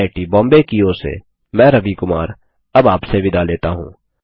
IIT Bombay की ओर से मैं रवि कुमार अब आपसे विदा लेता हूँ